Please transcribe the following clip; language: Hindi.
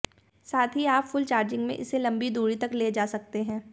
साथ ही आप फुल चार्जिंग में इसे लंबी दूरी तक लेजा सकते हैं